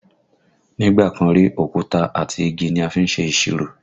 Nígbà kan rí, òkúta àti igi ni a fi ń ṣe ìṣirò